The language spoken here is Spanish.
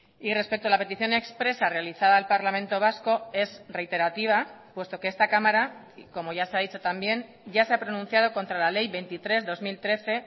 y respecto a la petición expresa realizada al parlamento vasco es reiterativa puesto que esta cámara como ya se ha dicho también ya se ha pronunciado contra la ley veintitrés barra dos mil trece